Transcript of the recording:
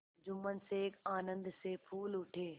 जुम्मन शेख आनंद से फूल उठे